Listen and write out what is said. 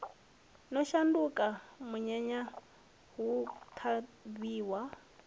no shanduka munyanya hu ṱhavhiwa